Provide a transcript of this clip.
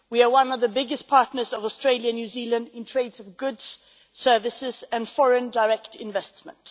We are one of the biggest partners of Australia and New Zealand in the trade of goods, services and foreign direct investment.